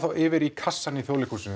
yfir í kassann í Þjóðleikhúsinu